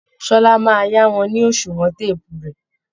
Ṣọlá máa yá wọn ni oṣùwọn téèpù rẹ̀